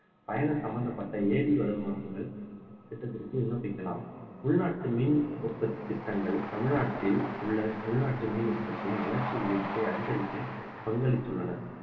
பயணம் சம்பந்தப்பட்ட AD வலுமானங்கள் திட்டத்திற்கு விண்ணப்பிக்கலாம் உள்நாட்டு மீன் உற்பத்தி திட்டங்கள் தமிழ்நாட்டில் உள்ள உள்நாட்டு மீன் உற்பத்தியின் வளர்ச்சி விகிதத்தை அதிகரிக்க பங்களித்துள்ளன